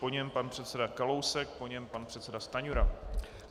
Po něm pan předseda Kalousek, po něm pan předseda Stanjura.